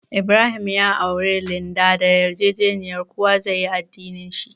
Ibrahim ya auri Linda da yarjejeniya kowa zai yi addinin shi.